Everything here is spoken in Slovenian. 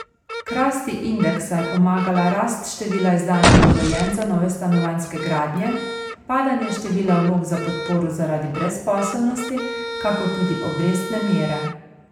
K rasti indeksa je pomagala rast števila izdanih dovoljenj za nove stanovanjske gradnje, padanje števila vlog za podporo zaradi brezposelnosti, kakor tudi obrestne mere.